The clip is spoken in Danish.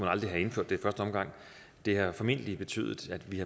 aldrig have indført det det har formentlig betydet at vi